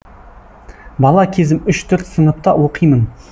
бала кезім үш төрт сыныпта оқимын